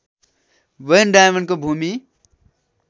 van डायमेनको भूमि